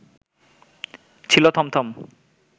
ছিল থমথম